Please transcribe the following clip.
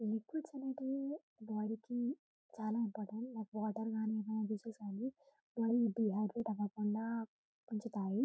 Liquids అనేటివి body కి చాల ఇంపార్టెంట్ వాటర్ గాని గాని బాడీ డిహైడ్రాట్ అవ్వకుండా.